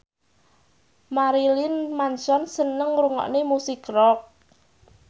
Marilyn Manson seneng ngrungokne musik rock